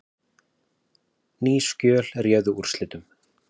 Ný skjöl réðu úrslitum